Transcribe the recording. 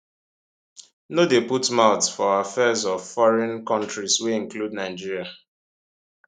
no dey put mouth for affairs of foreign kontris wey include nigeria